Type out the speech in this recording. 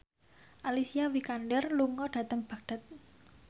Alicia Vikander lunga dhateng Baghdad